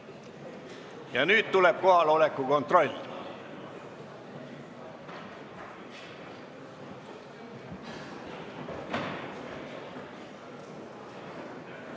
Ja nüüd tuleb kohaloleku kontroll.